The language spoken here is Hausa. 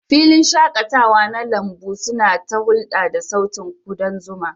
Filin shaƙatawa na lambun suna ta hulɗa da sautin kudan zuma.